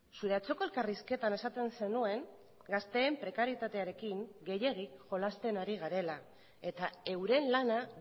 zure atzoko elkarrizketan esaten zenuen gazteen prekarietatearekin gehiegi jolasten ari garela eta euren lana